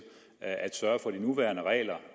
at sørge for de nuværende regler